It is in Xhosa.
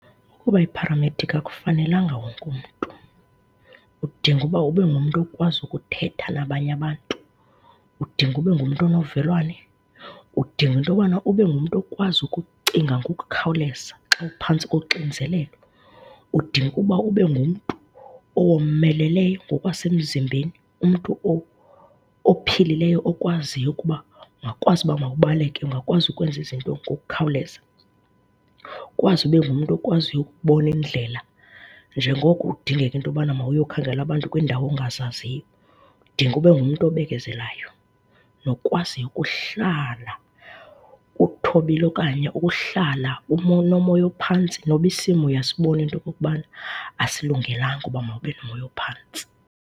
Uba yipharamedikhi akufanelanga wonke umntu. Udinga uba ube ngumntu okwazi ukuthetha nabanye abantu, udinga ube ngumntu onovelwane, udinga into yobana ube ngumntu okwazi ukucinga ngokukhawuleza xa uphantsi koxinzelelo. Udinga ukuba ube ngumntu owomeleleyo ngokwasemzimbeni, umntu ophilileyo okwaziyo ukuba mawukwazi uba mawubaleke, ungakwazi ukwenza izinto ngokukhawuleza. Ukwazi ube ngumntu okwaziyo ukubona indlela njengoko kudingeka into yobana mawuyokhangela abantu kwiindawo ongazaziyo. Udinga ube ngumntu obekezelayo, nokwaziyo ukuhlala uthobile okanye ukuhlala unomoya ophantsi noba isimo uyasibona into okokubana asilungelanga uba mawube nomoya ophantsi.